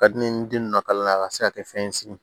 Ka di ne ye ni den nunnu ka kalan a ka se ka kɛ fɛn ye sigin